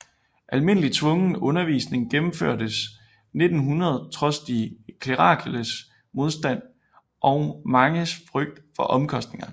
Almindelig tvungen undervisning gennemførtes 1900 trods de klerikales modstand og manges frygt for omkostningerne